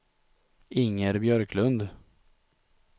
Inger Björklund